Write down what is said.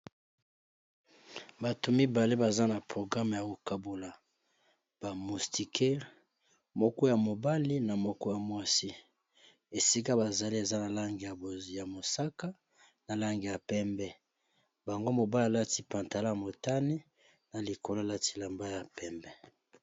Batu mibale baza na programmé yakogabula ba mustikere moko ya mobali na moko ya mwasi esika bazali ezanalangi ya mosaka nalangi pembe yango mobali alati pantalon ya motani nalikolo alati elamba ya pembe